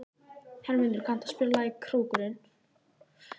Hermundur, kanntu að spila lagið „Krókurinn“?